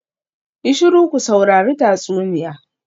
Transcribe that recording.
Yi shiru ku saurari tatsuniya.